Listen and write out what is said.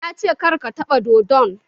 Ya ce "Kar ka taɓa dodon"!